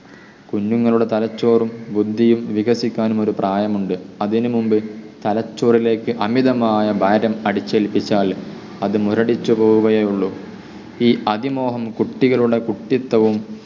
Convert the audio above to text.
കുഞ്ഞുങ്ങളുടെ തലച്ചോറും ബുദ്ധിയും വികസിക്കാനും ഒരു പ്രായമുണ്ട്. അതിനുമുൻപ് തലച്ചോറിലേക്ക് അമിതമായ ഭാരം അടിച്ചേൽപ്പിച്ചാലും അത് മുരടിച്ചു പോവുകയേ ഉള്ളു. ഈ അതിമോഹം കുട്ടികളുടെ കുട്ടിത്തവും